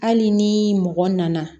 Hali ni mɔgɔ nana